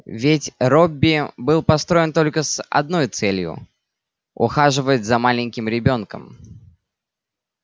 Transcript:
ведь робби был построен только с одной целью ухаживать за маленьким ребёнком